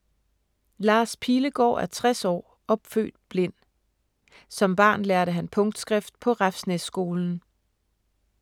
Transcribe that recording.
Lars Pilegaard er 60 år og født blind. Som barn lærte han punktskrift på Refsnæsskolen.